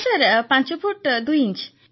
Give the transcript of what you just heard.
ନା ସାର୍ ପାଞ୍ଚ ଫୁଟ୍ ଦୁଇ ଇଞ୍ଚ